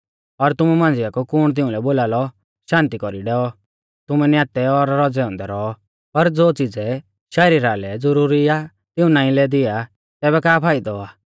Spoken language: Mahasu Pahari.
और तुमु मांझ़िया कु कुण तिउंलै बोलालौ शान्ति कौरी डैऔ तुमै न्यातै और रौज़ै औन्दै रौऔ पर ज़ो च़िज़ै शरीरा लै ज़ुरुरी आ तिऊं नाईं लै दिया आ तैबै का फाइदौ आ